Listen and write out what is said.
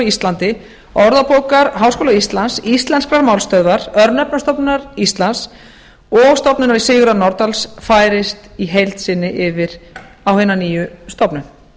íslandi orðabókar háskóla íslands íslenskrar málstöðvar örnefnastofnunar íslands og stofnunar sigurðar nordals færist í heild sinni yfir á hina nýju stofnun